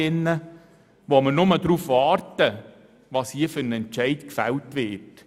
Bei diesen warten wir nur noch darauf, welcher Entscheid hier gefällt wird.